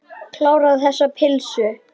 Kláraðu þessa pylsu.